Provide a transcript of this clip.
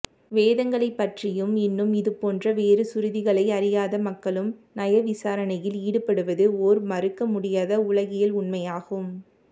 வேதங்களைப் பற்றியும் இன்னும் இதுபோன்ற வேறு சுருதிகளை அறியாத மக்களும் நயவிசாரணையில் ஈடுபடுவது ஓர் மறுக்க முடியாத உலகியல் உண்மையாகும்